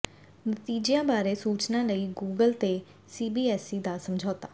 ਨਤੀਜਿਆਂ ਬਾਰੇ ਸੂਚਨਾ ਲਈ ਗੂਗਲ ਤੇ ਸੀਬੀਐਸਈ ਦਾ ਸਮਝੌਤਾ